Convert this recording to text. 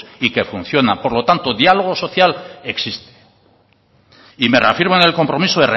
y que función por lo tanto diálogo social existe y me reafirmo en el compromiso